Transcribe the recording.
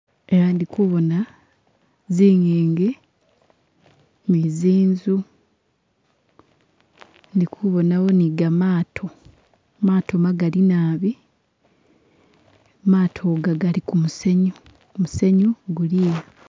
Eha idi kuboona zinjingi ni zinzu ndikubonawo ni gamaato maato magali naabi, maato ga gali kumusenyu musenyu guliha